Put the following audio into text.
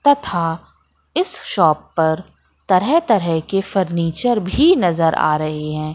तथा इस शॉप पर तरह तरह के फर्नीचर भी नजर आ रहे हैं।